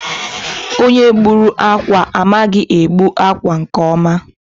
Onye gbùrù ákwà a, amaghị egbu akwa nke ọma.